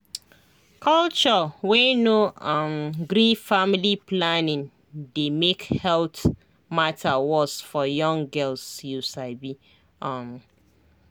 culture wey no um gree family planning dey make health matter worse for young girls you sabi um